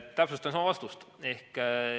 Täpsustan siis oma vastust.